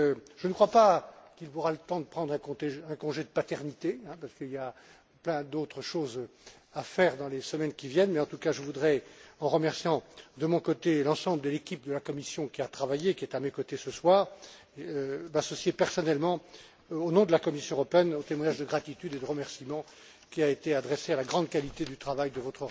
Je ne crois pas qu'il aura le temps de prendre un congé de paternité, parce qu'il y a plein d'autres choses à faire dans les semaines qui viennent, mais, en tout cas, je voudrais, en remerciant de mon côté l'ensemble de l'équipe de la Commission qui a travaillé, qui est à mes côtés ce soir, m'associer personnellement, au nom de la Commission européenne, aux témoignages de gratitude et de remerciement qui ont été adressés à votre rapporteur, M.